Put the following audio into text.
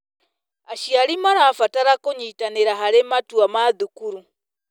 Aciari marabatara kũnyitanĩra harĩ matua ma thukuru.